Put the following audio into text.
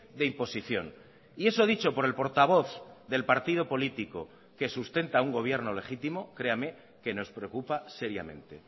de imposición y eso dicho por el portavoz del partido político que sustenta a un gobierno legítimo créame que nos preocupa seriamente